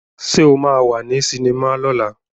Sé o máa wà ní sinimá lọ́la?